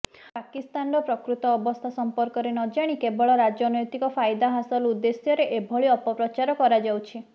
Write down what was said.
ପାକିସ୍ତାନର ପ୍ରକୃତ ଅବସ୍ଥା ସମ୍ପର୍କରେ ନଜାଣି କେବଳ ରାଜନୈତିକ ଫାଇଦା ହାସଲ ଉଦେ୍ଧଶ୍ୟରେ ଏଭଳି ଅପପ୍ରଚାର କରାଯାଉଛି